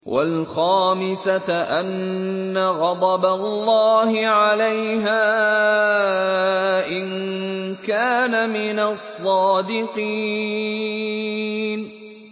وَالْخَامِسَةَ أَنَّ غَضَبَ اللَّهِ عَلَيْهَا إِن كَانَ مِنَ الصَّادِقِينَ